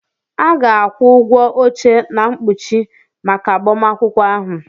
A ga-akwụ ụgwọ oche na mkpuchi maka agbamakwụkwọ ahụ.